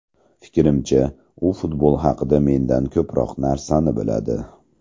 Fikrimcha, u futbol haqida mendan ko‘proq narsani biladi.